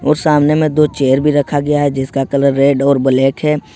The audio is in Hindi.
और सामने में दो चेयर भी रखा गया है जिसका कलर रेड और ब्लैक है।